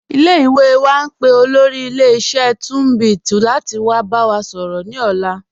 Ile-iwe wa n pe olóri ilẹ̀-iṣẹ̀ Tunbit lati wa ba wa sọrọ ni ọ̀la.